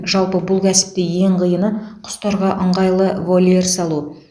жалпы бұл кәсіпте ең қиыны құстарға ыңғайлы вольер салу